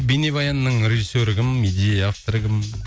бейнебаянның режиссері кім идея авторы кім